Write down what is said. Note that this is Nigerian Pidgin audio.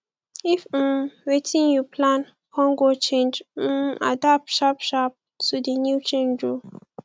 if um wetin you plan con go change um adapt sharp sharp to di new change o